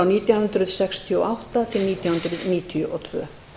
nítján hundruð sextíu og átta nítján hundruð níutíu og tvö